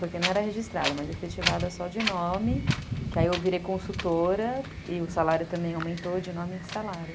Porque não era registrada, mas efetivada só de nome, que aí eu virei consultora e o salário também aumentou de nome de salário.